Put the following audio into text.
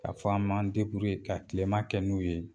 Ka fɔ an b'an ka tilema kɛ n'u ye